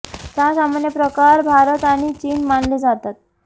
चहा सामान्य प्रकार भारत आणि चीन मानले जातात